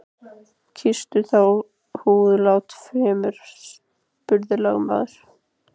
Kýstu þá húðlátið fremur, spurði lögmaður.